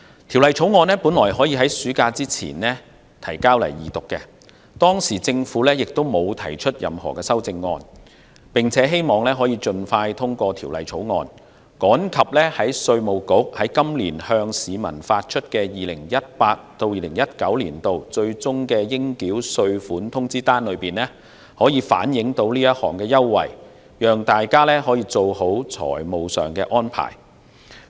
《條例草案》原本可以在暑假前提交本會二讀，而當時政府亦沒有提出任何修正案，希望可以盡快通過審議，趕及讓稅務局在今年向市民發出的 2018-2019 年度最終應繳稅款通知單中反映出這項優惠，讓大家做好財務上的安排。